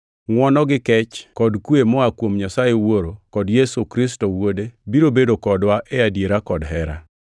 Ngʼwono gi kech kod kwe, moa kuom Nyasaye Wuoro kod Yesu Kristo wuode, biro bedo kodwa e adiera kod hera.